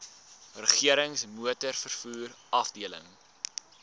regerings motorvervoer afdeling